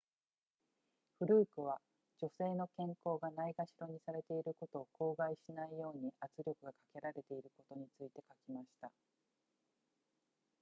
フルークは女性の健康がないがしろにされていることを口外しないように圧力がかけられていることについて書きました